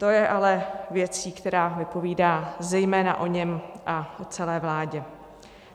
To je ale věc, která vypovídá zejména o něm a o celé vládě.